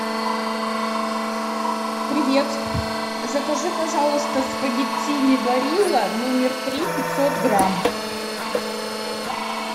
привет закажи пожалуйста спагеттини барилла номер три пятьсот грамм